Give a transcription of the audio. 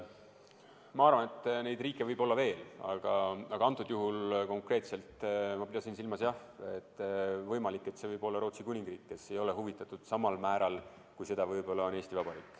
Ma arvan, et neid riike võib olla veel, aga konkreetsel juhul ma pidasin silmas jah seda, et see võib olla Rootsi Kuningriik, kes ei ole selle asja uurimisest huvitatud samal määral, kui seda võib-olla on Eesti Vabariik.